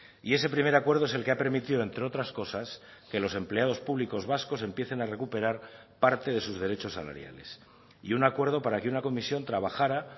y ese primer acuerdo es el que ha permitido entre otras cosas que los empleados públicos vascos empiecen a recuperar parte de sus derechos salariales y un acuerdo para que una comisión trabajará